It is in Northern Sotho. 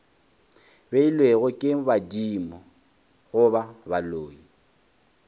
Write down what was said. beilwego ke badimo goba baloi